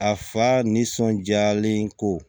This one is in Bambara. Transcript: A fa nisɔndiyalen ko